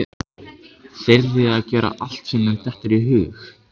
Þyrði að gera allt sem mér dytti í hug.